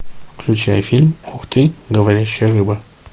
включай фильм ух ты говорящая рыба